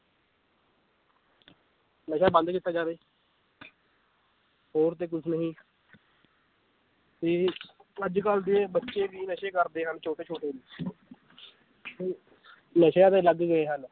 ਨਸ਼ਾ ਬੰਦ ਕੀਤਾ ਜਾਵੇ ਹੋਰ ਤੇ ਕੁੱਝ ਨਹੀਂ ਤੇ ਅੱਜ ਕੱਲ੍ਹ ਦੇ ਬੱਚੇ ਵੀ ਨਸ਼ੇ ਕਰਦੇ ਹਨ ਛੋਟੇ ਛੋਟੇ ਵੀ ਤੇ ਨਸ਼ਿਆ ਤੇ ਲੱਗ ਗਏ ਹਨ।